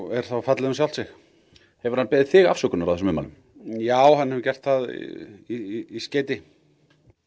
er þá fallið um sjálft sig hefur hann beðið þig afsökunar á þessum ummælum já hann hefur gert það í skeyti